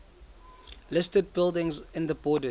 listed buildings in the borders